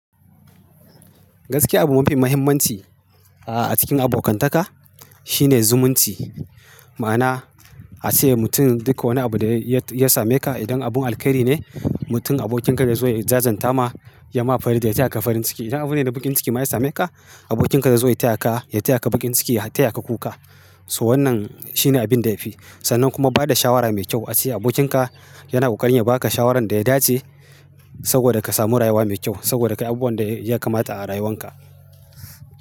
Gaskiya abu mafi muhimmanci a cikin abokantaka shine zumunci. Ma'ana ace mutum duka wani abu da ya same ka idan abun alheri ne mutum abokinka da zai zo ya jajanta ma ya ma farin da ya taya ka farin ciki. Idan abune na baƙin ciki ma ya same ka abokinka da zai zo ya taya ka, ya taya ka baƙin ciki ya taya ka kuka. So wannan shine abin da yafi. Sannan kuma bada shawara mai kyau a ce abokinka yana ƙoƙarin ya baka shawaran da ya dace saboda ka samu rayuwa mai kyau saboda kai abu wanda ya kamata a rayuwan ka.